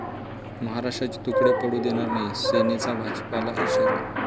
महाराष्ट्राचे तुकडे पडू देणार नाही, सेनेचा भाजपला इशारा